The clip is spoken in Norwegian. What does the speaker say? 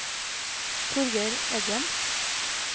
Torger Eggen